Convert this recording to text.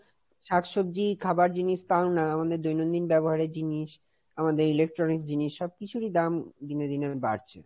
শাকসবজি খাবার জিনিস তাও না, আমাদের দৈনন্দিন ব্যবহারের জিনিস, আমাদের Electronics জিনিস সব কিছুরই দাম দিনে দিনে বাড়ছে।